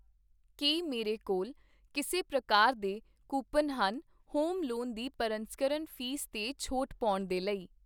ਕੀ ਮੇਰੇ ਕੋਲ ਕਿਸੇ ਪ੍ਰਕਾਰ ਦੇ ਕੂਪਨ ਹਨ ਹੋਮ ਲੋਨ ਦੀ ਪਰਸੰਸਕਰਨ ਫ਼ੀਸ ਤੇ ਛੋਟ ਪਾਉਣ ਦੇ ਲਈ ?